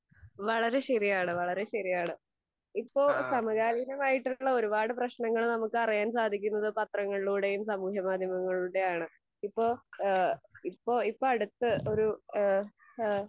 വളരെ ശെരിയാണ് വളരെ ശെരിയാണ്. ഇപ്പൊ സമകാലികമായിട്ടുള്ള ഒരുപാട് പ്രശ്നങ്ങള് നമ്മൾക്ക് അറിയാൻ സാധിക്കുന്നതൊക്കെ പത്രങ്ങളിലൂടെയും സമൂഹ മാധ്യമങ്ങളിലൂടെയും ആണ്. ഇപ്പൊ ഏഹ് ഇപ്പൊ ഇപ്പൊ അടുത്ത് ഒരു ഇഹ്